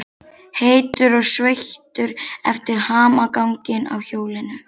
Heitur og sveittur eftir hamaganginn á hjólinu.